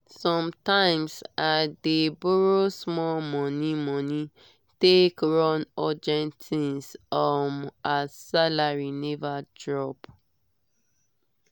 sometimes i dey borrow small money money take run urgent things um as salary never drop.